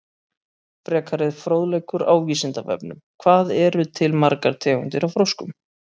Frekari fróðleikur á Vísindavefnum: Hvað eru til margar tegundir af froskum?